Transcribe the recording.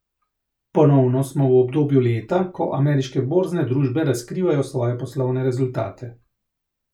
Ponovno smo v obdobju leta, ko ameriške borzne družbe razkrivajo svoje poslovne rezultate.